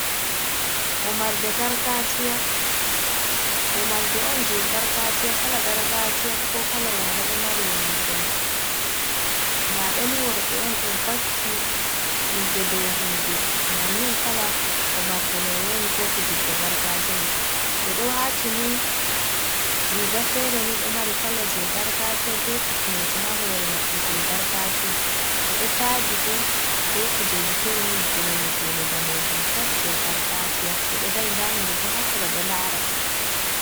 Wamarde gargaajiya, wamarde on jey gargaajiya, kala gargaajiya, ko kala yaare, ɗo mari wamarde may. Ndaa ɓe ni worɓe on, ɗo vakki himɓe dow himɓe bannin. Kala wamarde may woni, ko fijidde gargaajiya may. Ɓe ɗo waatini riiga feere ni, ɗo mari kala jey gargaajiya be kufneeji, haa hoore maɓɓe jey gargaajiya. Ɓe ɗo taadi bo, be kujeji fere ni, geene geene daneejum tas, jey gargaajiya. Ɓe ɗo dari ndaa himɓe bo, haa sera ɗo laara ɓe.